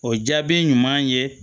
O jaabi ɲuman ye